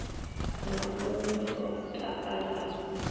na mun we o takalaho